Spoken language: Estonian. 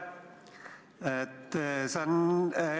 Aitäh!